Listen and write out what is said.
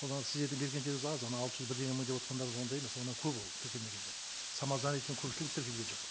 ол ана сіздердің бергендеріңіз аз ана алты жүз бірдеңе мың деп отырғандарыңыз ондай емес одан көп ол тіркелмегендер самозанятыйдың көпшілігі тіркелген жоқ